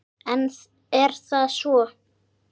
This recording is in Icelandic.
En er það svo?